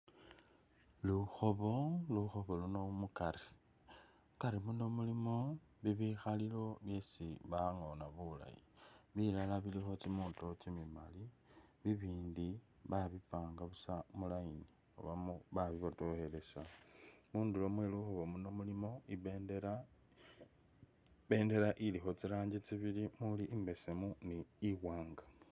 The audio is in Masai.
Lukhoobo, lukhoobo uluno mukari, mukari muno mulimo bibikhalilo byesi bangoona bulaayi, bilala bilikho kimiito kimilaayi bibindi babipanga busa mu line oba ba bi botokhelesa , mundulo mwelukhobo muno mulimo ibendela, ibendela ilikho tsiranji tsibili umuli imbesemu ne iwanga.